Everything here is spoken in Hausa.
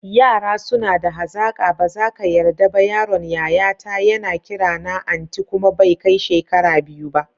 Yara suna da hazaƙa, bazaka yarda ba yaron yayata yana kirana anti kuma bai kai shekara biyu ba.